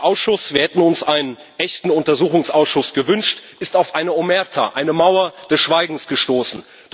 Der Ausschuss wir hätten uns einen echten Untersuchungsausschuss gewünscht ist auf eine Omerta, eine Mauer des Schweigens, gestoßen.